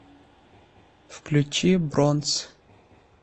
включи бронс